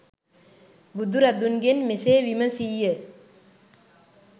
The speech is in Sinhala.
බුදුරදුන්ගෙන් මෙසේ විමසී ය.